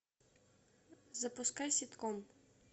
запускай ситком